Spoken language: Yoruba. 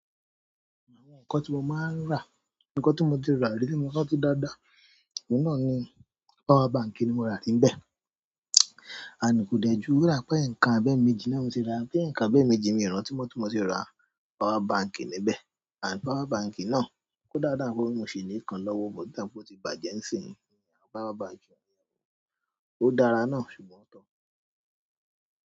Àwọn nǹkan tí mo máa ń rà, nǹkan tí mo ti rà, àbí tí mo rántí dáadáa oun náà ni power bank ni mo rà níbẹ̀. Ànd kò dẹ̀ jù rirà pé eǹkan abẹ́ẹ̀méjì ni mo ti rà, bi eǹkan abẹ́ẹ̀méjì, mi i rántí mó tí mo se rà power bank níbẹ̀. Ànd power bank náà kó dáadáa, pe mó ṣi ni ikan lọ́wọ́, but o dà pé ó ti bàjẹ́ ńsìnyí, powerbank, ó dára náà ṣùgbọ́n ko won.